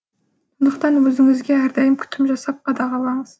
сондықтан өзіңізге әрдайым күтім жасап қадағалаңыз